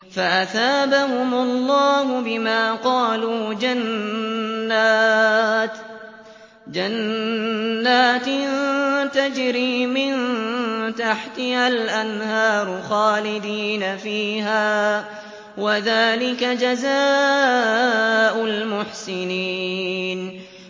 فَأَثَابَهُمُ اللَّهُ بِمَا قَالُوا جَنَّاتٍ تَجْرِي مِن تَحْتِهَا الْأَنْهَارُ خَالِدِينَ فِيهَا ۚ وَذَٰلِكَ جَزَاءُ الْمُحْسِنِينَ